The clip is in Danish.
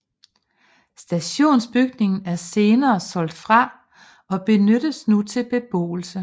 Stationsbygningen er senere solgt fra og benyttes nu til beboelse